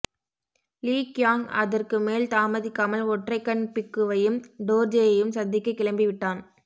லீ Qiang அதற்கு மேல் தாமதிக்காமல் ஒற்றைக்கண் பிக்குவையும் டோர்ஜேயையும் சந்திக்கக் கிளம்பி விட்டான்